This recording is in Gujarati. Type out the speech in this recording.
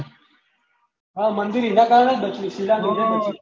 આ મંદિર એના કારણે એ બચ્યું શીલા રોકી લીધી